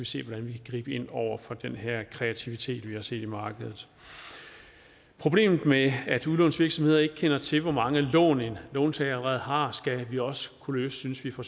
se hvordan vi kan gribe ind over for den her kreativitet vi har set i markedet problemet med at udlånsvirksomheder ikke kender til hvor mange lån en låntager allerede har skal vi også kunne løse synes vi fra